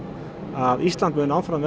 að Ísland verði áfram